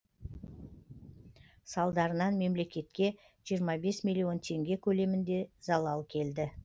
салдарынан мемлекетке жиырма бес миллион теңге көлемінде залал келді